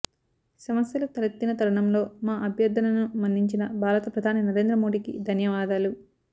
సమస్యలు తలెత్తిన తరుణంలో మా అభ్యర్థనను మన్నించిన భారత ప్రధాని నరేంద్ర మోడీకి ధన్యవాదాలు